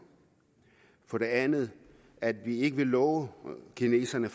for det andet at vi ikke vil love kineserne